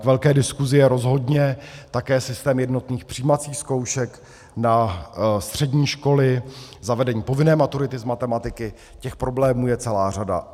K velké diskusi je rozhodně také systém jednotných přijímacích zkoušek na střední školy, zavedení povinné maturity z matematiky, těch problémů je celá řada.